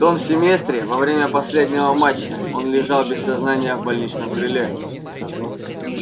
в том семестре во время последнего матча он лежал без сознания в больничном крыле